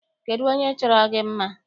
Kedụ onye chọrọ gị mma?